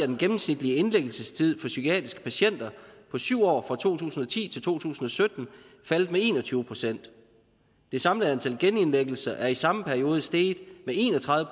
den gennemsnitlige indlæggelsestid for psykiatriske patienter på syv år fra to tusind og ti til to tusind og sytten faldet med en og tyve procent det samlede antal af genindlæggelser er i samme periode steget med en og tredive